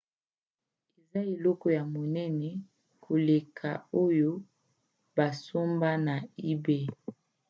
eza eloko ya monene koleka oyo basomba na ebay